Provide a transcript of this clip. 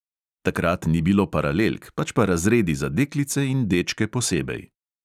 Takrat ni bilo paralelk, pač pa razredi za deklice in dečke posebej.